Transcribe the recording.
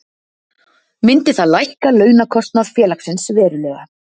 Myndi það lækka launakostnað félagsins verulega.